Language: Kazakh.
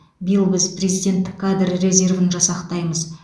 биыл біз президенттік кадр резервін жасақтаймыз